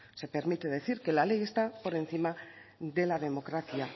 se permite decir que la ley está por encima de la democracia